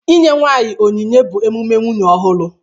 Inye nwanyị onyinye bụ emume nwunye ọhụrụ